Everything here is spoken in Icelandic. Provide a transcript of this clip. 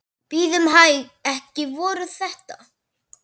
Bíðum hæg. ekki voru þetta?